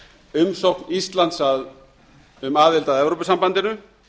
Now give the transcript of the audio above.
umsókn íslands um aðild að evrópusambandinu